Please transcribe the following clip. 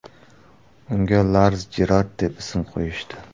Unga Lars Jerard deb ism qo‘yishdi.